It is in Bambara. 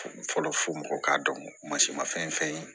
Fɔlɔ fɔ mɔgɔw k'a dɔn ko mansin ma fɛn fɛn ye